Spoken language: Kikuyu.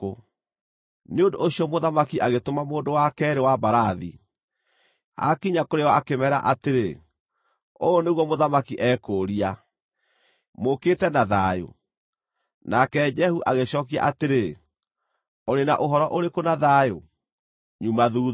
Nĩ ũndũ ũcio mũthamaki agĩtũma mũndũ wa keerĩ wa mbarathi. Aakinya kũrĩ o akĩmeera atĩrĩ, “Ũũ nĩguo mũthamaki eekũũria: ‘Mũũkĩte na thayũ?’ ” Nake Jehu agĩcookia atĩrĩ, “Ũrĩ na ũhoro ũrĩkũ na thayũ? Nyuma thuutha.”